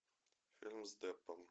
фильм с деппом